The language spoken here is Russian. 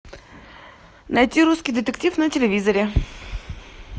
найти русский детектив на телевизоре